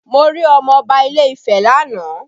Mo rí ọmọ Ọba ilé Ifẹ́ lánàá